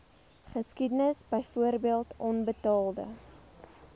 geskiedenis byvoorbeeld onbetaalde